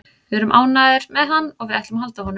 Við erum ánægðir með hann og við ætlum að halda honum.